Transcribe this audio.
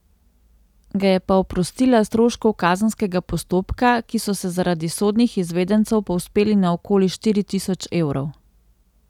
Ga je pa oprostila stroškov kazenskega postopka, ki so se zaradi sodnih izvedencev povzpeli na okoli štiri tisoč evrov.